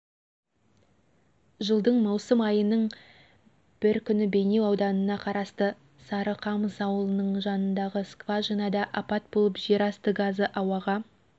жылдың маусым айының бір күні бейнеу ауданына қарасты сарықамыс ауылының жанындағы скважинада апат болып жер асты газы ауаға